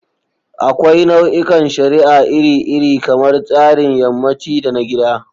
Akwai nau'ikan shari'a iri-iri, kamar tsarin yammaci da na gida.